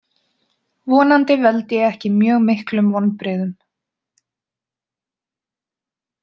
Vonandi veld ég ekki mjög miklum vonbrigðum.